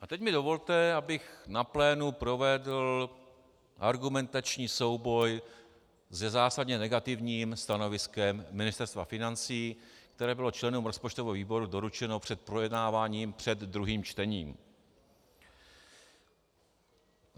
A teď mi dovolte, abych na plénu provedl argumentační souboj se zásadně negativním stanoviskem Ministerstva financí, které bylo členům rozpočtového výboru doručeno před projednáváním před druhým čtením.